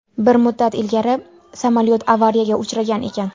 Bir muddat ilgari samolyot avariyaga uchragan ekan.